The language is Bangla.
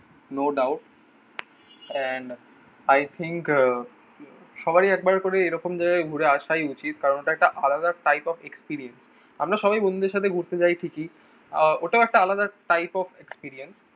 No doubt and I think আহ সবারই একবার করে এরকম জায়গায় ঘুরে আসাই উচিত। কারণ ওটা একটা আলাদা type of experiemce. আমরা সবাই বন্ধুদের সাথে ঘুরতে যাই ঠিকই আহ ওটাও একটা আলাদা type of experience.